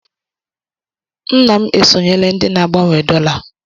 Nna m esonyela ndị ná-agbanwe dọla.